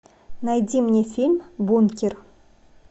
найди мне фильм бункер